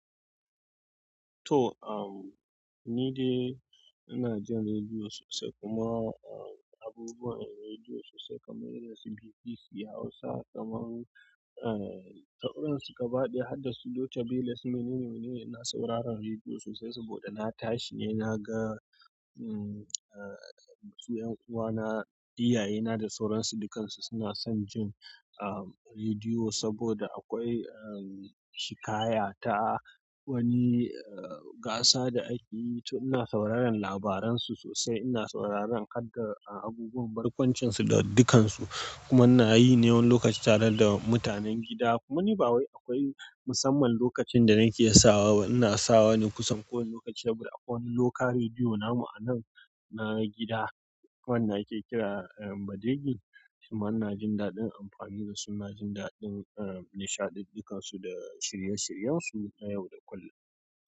To, um, ni dai ina jin rediyo sosai kuma, um, abubuwan rediyo sosai kamar irin su BBC Hausa, kamar, um, tauransu gaba ɗaya har da su Loca Beles. Menene ne ina sauraron rediyo sosai saboda na tashi ne na ga, um, uh, su 'yan uwana, iyayena da sauran su dukansu suna son jin, um, rediyo saboda akwai, um, shikaya ta wani, uh, gasa da ake yi. To ina sauraron labaran su sosai, ina sauraron hadda, uh, abubuwan barkwancin su da dukansu. Kuma ina yi ne wani lokaci tare da mutanen gida. Kuma ni ba wai akwai musamman lokacin da nake sawa ba. Ina sawa ne kusan kowane lokaci. Sabuda akwai wani local rediyo namu a nan na gida wanda ake kira, um, Badige. Shima ina jin daɗin amfani da su. Ina jin daɗin, um, nishaɗi dukansu da shirye-shiryen su na yau da kullum.